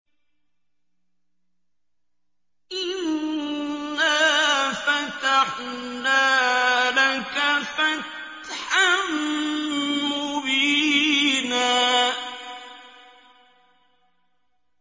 إِنَّا فَتَحْنَا لَكَ فَتْحًا مُّبِينًا